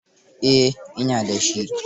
Eh, ina da shi.